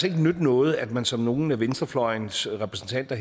ikke nytte noget at man som nogle af venstrefløjens repræsentanter